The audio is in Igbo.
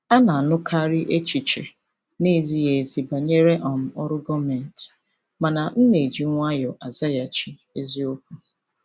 A na-anụkarị echiche na-ezighị ezi banyere um ọrụ gọọmentị, mana m na-eji nwayọọ azaghachi eziokwu.